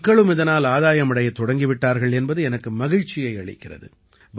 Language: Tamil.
மக்களும் இதனால் ஆதாயம் அடையத் தொடங்கிவிட்டர்கள் என்பது எனக்கு மகிழ்ச்சியை அளிக்கிறது